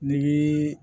Ni